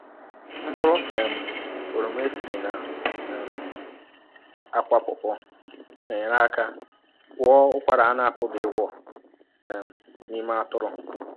Mkpụrụ um oroma esiri na um akwa pọpọ́ na-enyere aka gwọọ ụkwara a na-apụghị ịgwọọ um n’ime atụrụ.